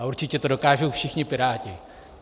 A určitě to dokážou všichni piráti.